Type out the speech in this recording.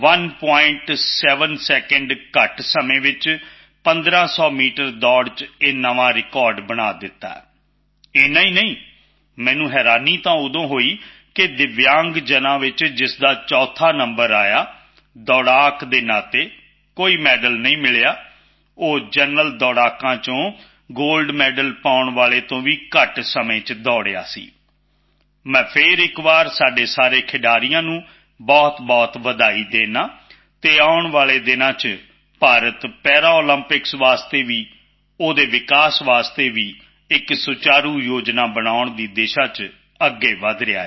7 second ਘੱਟ ਸਮੇਂ ਵਿੱਚ 1500 ਮੀਟਰ ਦੌੜ ਵਿੱਚ ਇੱਕ ਨਵਾਂ ਰਿਕਾਰਡ ਬਣਾ ਦਿੱਤਾ ਇੰਨਾ ਹੀ ਨਹੀਂ ਮੈਨੂੰ ਹੈਰਾਨੀ ਤਾਂ ਉਦੋਂ ਹੋਈ ਕਿ ਦਿੱਵਯਾਂਗਾਂ ਵਿੱਚ ਜਿਸਦਾ ਚੌਥਾ ਨੰਬਰ ਆਇਆ ਦੌੜਾਕ ਹੋਣ ਦੇ ਨਾਤੇ ਕੋਈ ਮੈਡਲ ਨਹੀਂ ਮਿਲਿਆ ਉਹ ਜਨਰਲ ਦੌੜਾਕਾਂ ਵਿੱਚ ਗੋਲਡ ਮੈਡਲ ਲੈਣ ਵਾਲੇ ਤੋਂ ਵੀ ਘੱਟ ਸਮੇਂ ਵਿੱਚ ਦੌੜਿਆ ਸੀ ਮੈਂ ਫਿਰ ਇੱਕ ਵਾਰ ਆਪਣੇ ਉਨ੍ਹਾਂ ਸਾਰੇ ਖਿਡਾਰੀਆਂ ਨੂੰ ਬਹੁਤਬਹੁਤ ਵਧਾਈ ਦਿੰਦਾ ਹਾਂ ਅਤੇ ਆਉਣ ਵਾਲੇ ਦਿਨਾਂ ਵਿੱਚ ਭਾਰਤ ਪੈਰਾਲੰਪਿਕਸ ਲਈ ਵੀ ਉਸਦੇ ਵਿਕਾਸ ਲਈ ਵੀ ਇੱਕ ਸੁਚਾਰੂ ਯੋਜਨਾ ਬਣਾਉਣ ਦੀ ਦਿਸ਼ਾ ਵਿੱਚ ਅੱਗੇ ਵਧ ਰਿਹਾ ਹੈ